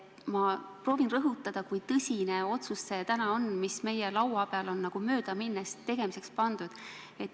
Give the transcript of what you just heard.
Ma proovin rõhutada, kui tõsine on see otsus, mis on täna meie laua peale nagu möödaminnes tegemiseks pandud.